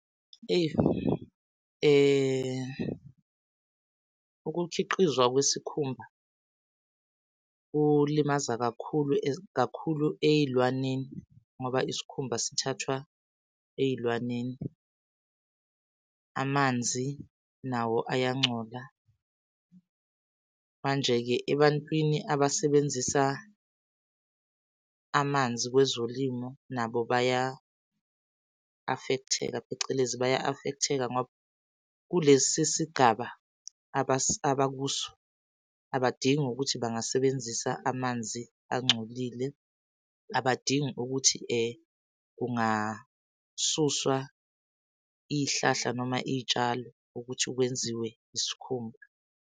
Ukukhiqizwa kwesikhumba kulimaza kakhulu kakhulu ey'lwaneni ngoba isikhumba sithathwa ey'lwaneni, amanzi nawo ayangcola. Manje-ke ebantwini abasebenzisa amanzi kwezolimo nabo baya-affect-eka, phecelezi baya-affect-eka ngoba kulesi sigaba abakuso abadingi ukuthi bangasebenzisa amanzi angcolile, abadingi ukuthi kungasuswa iy'hlahla noma iy'tshalo ukuthi kwenziwe isikhumba.